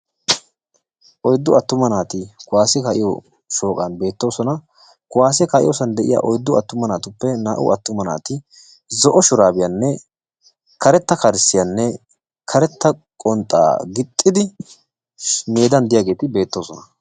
oyddu attuma naati kuwassiya kaa"iyo sohuwanni beettossona hassohuwan beetiya oyddatuppe naa"u attumagetti zo"o shurabiyanne karetta kalsiyanne karetta qonxxa gixxidi dembanni de"iyagetti beettossona.